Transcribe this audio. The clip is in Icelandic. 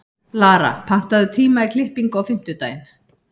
Lara, pantaðu tíma í klippingu á fimmtudaginn.